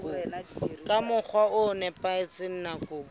ka mokgwa o nepahetseng nakong